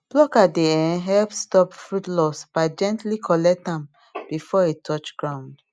plucker dey um help stop fruit loss by gently collect am before e touch ground